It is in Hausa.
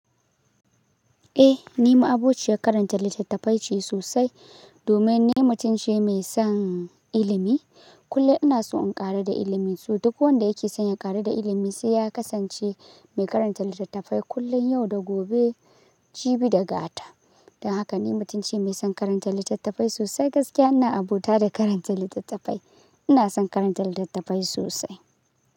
Eh, ni ma aboci ya karanta littattafai ce sosai. Domin ni mutunce mai son ilimi. Kulle ina so in ƙaru da ilimi, saboda duk wanda yake son ya ƙaru da ilimi sai ya kasance mai karanta littattafai kullum, yau da gobe, jibi da gata. Don haka ni mutunci mai son karanta littattafai sosai gaskiya ina abota da karanta littattafai. Ina son karanta littattafai sosai.